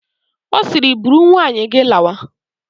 Ọ siiri, buru nwunye gị lawa!